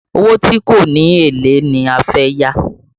Owó tí kò ní èlé ni fẹ́ yá